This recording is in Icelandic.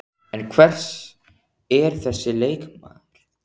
En hver er þessi leikmaður?